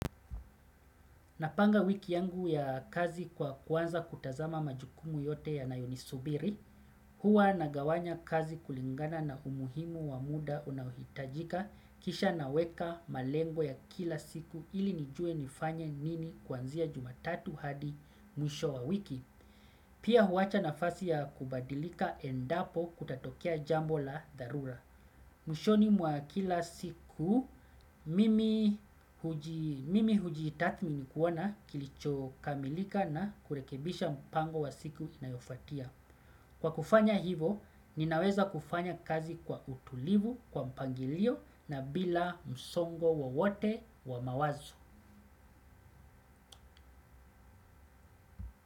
Napanga wiki yangu ya kazi kwa kuanza kutazama majukumu yote yanayo nisubiri, huwa nagawanya kazi kulingana na umuhimu wa muda unaohitajika, kisha naweka malengo ya kila siku ili nijue nifanye nini kuanzia jumatatu hadi mwisho wa wiki pia huwacha nafasi ya kubadilika endapo kutatokea jambo la dharura. Mwishoni wa kila siku mimi mimi hujitathmi kuona kilicho kamilika na kurekebisha mpango wa siku inayofuatia. Kwa kufanya hivo, ninaweza kufanya kazi kwa utulivu, kwa mpangilio na bila msongo wowote wa mawazo.